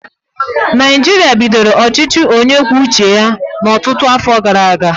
Naijiria bidoro ọchịchị onye kwuo uche ya ọtụtụ afọ gara aga.